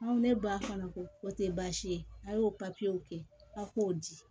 Aw ne ba fana ko o tɛ baasi ye a y'o papiyew kɛ a k'o di